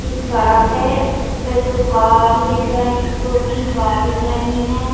एक सड़क है उसपे दो कार दिख रहे दो तीन कार दिख रही है --